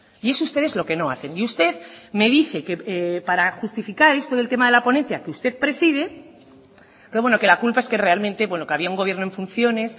y eso ustedes es lo que no hacen y usted me dice que para justificar esto del tema de la ponencia que usted preside pero bueno que la culpa es que realmente bueno que había un gobierno en funciones